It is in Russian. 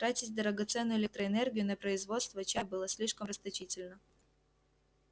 тратить драгоценную электроэнергию на производство чая было слишком расточительно